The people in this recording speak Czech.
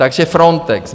Takže Frontex.